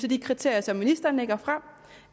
de kriterier som ministeren lægger frem